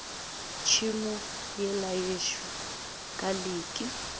tšhemo yela yešo ka leke